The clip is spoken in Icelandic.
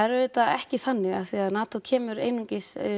er auðvitað ekki þannig af því að NATO kemur einungis